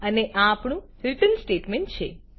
અને આ આપણું રીટર્ન સ્ટેટમેન્ટ છે